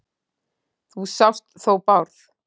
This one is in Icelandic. Þú sást þó Bárð?